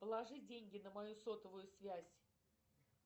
положи деньги на мою сотовую связь